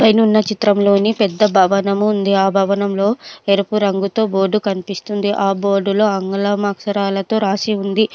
పైనున్న చిత్రంలోని పెద్ద భవనము ఉంది. ఆ భవనంలో ఎరుపు రంగుతో బోర్డు కనిపిస్తుంది. ఆ బోర్డులో ఆంగ్లం అక్షరాలతో రాసి ఉంది.